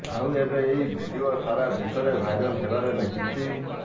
ଆଉ ଏବେ ଏହି ଭିଡିଓ ସାରା ବିଶ୍ୱରେ ଭାଇରାଲ ହେବାରେ ଲାଗିଛି